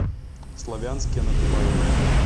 славянске на кубани